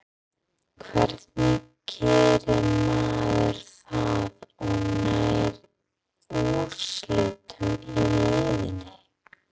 Hvernig gerir maður það og nær úrslitum í leiðinni?